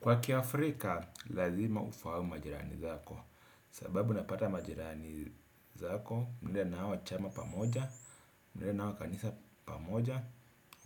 Kwa kiafrika, lazima ufahamu majirani zako. Sababu napata majirani zako, mnaenda na hawa chama pamoja, mnaenda na hawa kanisa pamoja,